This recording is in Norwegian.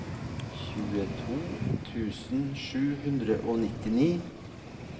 tjueto tusen sju hundre og nittini